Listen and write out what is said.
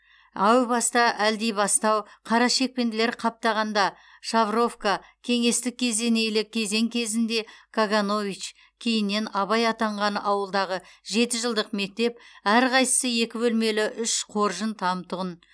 әу баста әлдибастау қарашекпенділер қаптағанда шавровка кеңестік кезенейлі кезең кезінде каганович кейіннен абай атанған ауылдағы жеті жылдық мектеп әрқайсысы екі бөлмелі үш қоржын там тұғын